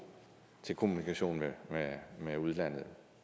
til kommunikationen med udlandet